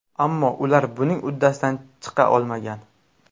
Ammo ular buning uddasidan chiqa olmagan.